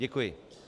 Děkuji.